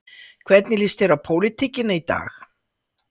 Hvernig lýst þér á pólitíkina í dag?